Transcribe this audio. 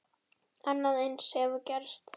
Annað eins hefur gerst!